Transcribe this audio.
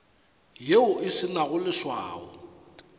yeo e se nago leswao